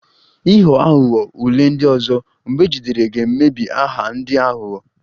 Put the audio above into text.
Ịghọ aghụghọ ule ndị ọzọ, mgbe ejidere ga-emebi aha ndị aghụghọ